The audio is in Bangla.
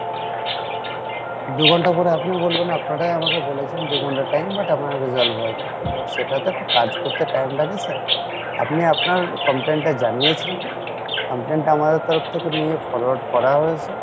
দু ঘন্টার পরে আপনি বলবেন আপনারাই আমাকে বলেছেন দু ঘণ্টা time but এখনো resolve হয়নি but সেটা তো একটা কাজ করতে time লাগে sir আপনি আপনার complain টা জানিয়েছেন complain টা আমাদের তরফ থেকে forward করা হয়েছে